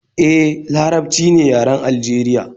E, Larabci ne yaren Aljeriya